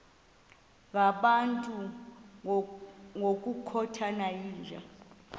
ngabantu ngokukhothana yinja